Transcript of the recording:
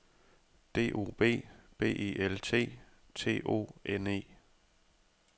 D O B B E L T T O N E